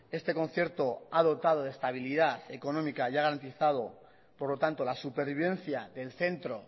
este concierto ha dotado de estabilidad económica y ha garantizado por lo tanto la supervivencia del centro